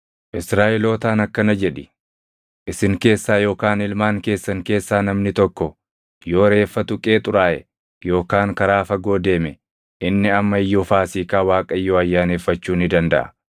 “Israaʼelootaan akkana jedhi: ‘Isin keessaa yookaan ilmaan keessan keessaa namni tokko yoo reeffa tuqee xuraaʼe yookaan karaa fagoo deeme, inni amma iyyuu Faasiikaa Waaqayyoo ayyaaneffachuu ni dandaʼa.